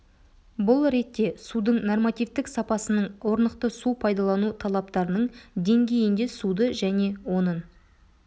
бұл ретте судың нормативтік сапасының орнықты су пайдалану талаптарының деңгейінде суды және оның